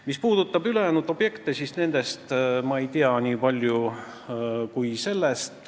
Mis puudutab ülejäänud objekte, siis nendest ma nii palju ei tea.